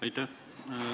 Aitäh!